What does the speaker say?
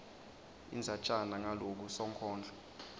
indzatjana ngaloko sonkondlo